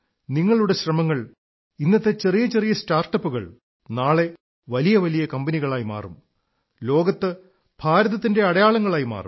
നിങ്ങളുടെ ശ്രമങ്ങൾ ഇന്നത്തെ ചെറിയ ചെറിയ സ്റ്റാർട്ടപ്പുകൾ നാളെ വലിയ വലിയ കമ്പനികളായി മാറും ലോകത്ത് ഭാരതത്തിന്റെ അടയാളങ്ങളായി മാറും